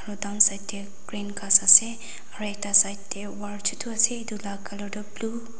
aro downside dae green ghas ase aro ekta side dae wall chutu ase etu la colour tuh blue .